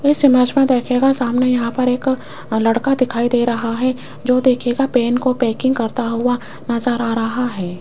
इस इमेज मे देखियेग सामने यहां पर एक लड़का दिखाई दे रहा है जो देखियेगा पेन को पैकिंग करता हुआ नजर आ रहा है।